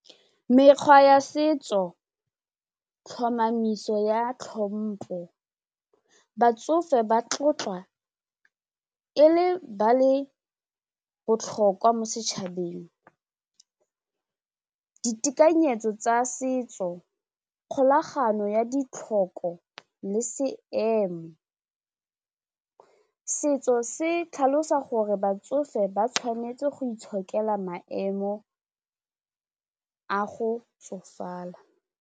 Mekgwa ya setso, tlhomamiso ya tlhompo batsofe ba tlotlwa e le ba le botlhokwa mo setšhabeng ditekanyetso tsa setso kgolagano ya ditlhoko le seemo setso se tlhalosa gore batsofe ba tshwanetse go itshokela maemo a go tsofala.